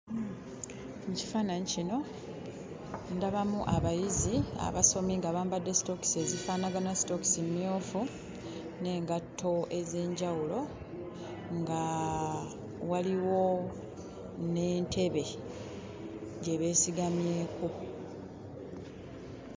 Mu kifaananyi kino ndabamu abayizi abasomi nga bambadde sitookisi ezifaanagana, sitookisi mmyufu n'engatto ez'enjawulo, nga waliwo n'entebe gye beesigamyeko.